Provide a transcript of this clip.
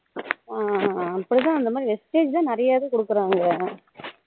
ஹம் அப்போதான் அந்த மாதிரி vistage நிறைய பேர்க்கு குடுக்குறாங்களே